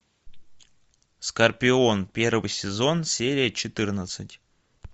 скорпион первый сезон серия четырнадцать